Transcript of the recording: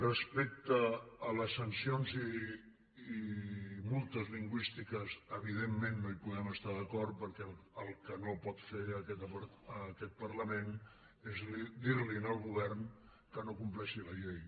respecte a les sancions i multes lingüístiques evidentment no hi podem estar d’acord perquè el que no pot fer aquest parlament és dir li al govern que no compleixi la llei